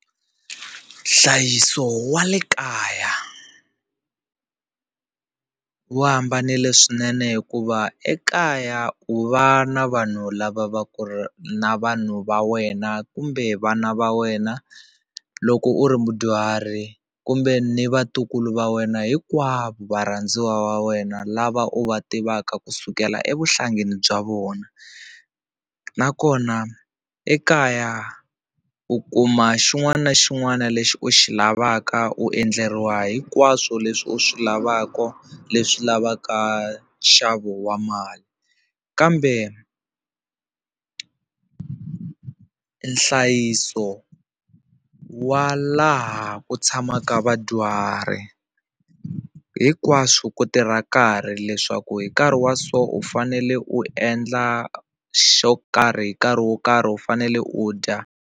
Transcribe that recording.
Nhlayiso wa le kaya wu hambanile swinene hikuva ekaya u va na vanhu lava va ku ri na vanhu va wena kumbe vana va wena loko u ri mudyuhari kumbe ni vatukulu va wena hinkwavo varhandziwa va wena lava u va tivaka ku sukela evuhlangeni bya vona nakona ekaya u kuma xin'wana na xin'wana lexi u xi lavaka u endleriwa hinkwaswo leswi u swi lavaka leswi lavaka nxavo wa mali kambe nhlayiso wa laha ku tshamaka vadyuhari hinkwaswo ku tirha nkarhi leswaku hi nkarhi wa so u fanele u endla xo karhi hi nkarhi wo karhi u fanele u dya.